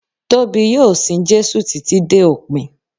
Tóbi yóò sin Jésù títí dé òpin.